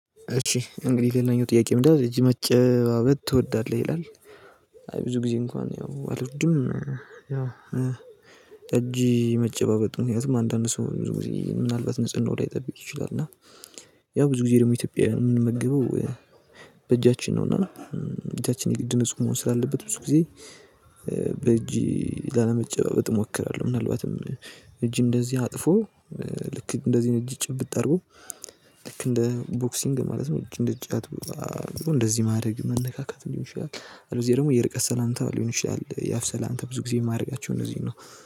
እሺ እንግዲህ ሌላኛው ጥያቄ ምንድነው እጅ መጨባበት ትወዳለህ ይላል? አይ ብዙ ጊዜ እንኳን ያው አልወድም። እጅ መጨባበጥ ምክንያቱም አንዳንድ ሰው ምናልባት ንጽህናውን ላይጠብቅ ይችላል እና። ያው ብዙ ጊዜ ደግሞ ኢትዮጵያውያን የምንመግበው በእጃችን ነውና እጃችን የግድ ነፁ መሆን ስላለበት ብዙ ጊዜ በእጅ ላለመጨባበጥ እሞክራለሁ። ምናልባትም እጅ እንደዚህ አጥፎ ልክ እንደዚህ እጅ ጭብጥ አርጎ ልክ እንደ ቦክሲንግ ማለት ነው እንደ እጫት። እንደዚህ ማድረግ መነካካትም ሊሆን ይችላል እንደዚህ ደግሞ የርቀት ሰላምታ ሊሆን ይችላል። የአፍ ሰላምታ ብዙ ጊዜ የማደርጋችሁ እነዚህ ነው